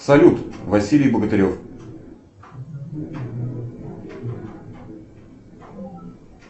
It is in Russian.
салют василий богатырев